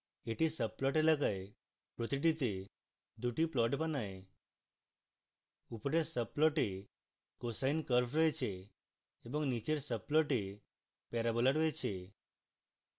এটি subplot এলাকার প্রতিটিতে দুটি plots বানায় উপরের subplot a cosine curve রয়েছে এবং নীচের subplot a প্যারাবোলা রয়েছে